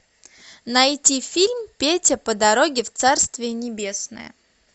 найти фильм петя по дороге в царствие небесное